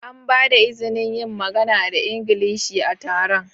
An ba da izinin yin magana da Ingilishi a taron?